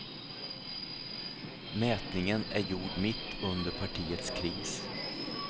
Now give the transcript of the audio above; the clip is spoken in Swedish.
Mätningen är gjord mitt under partiets kris.